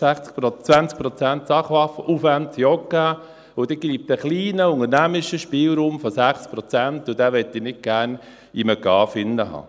20 Prozent Sachaufwand sind auch gegeben, und dann bleibt ein kleiner unternehmerischer Spielraum von 6 Prozent, und den möchte ich nicht gerne in einem GAV haben.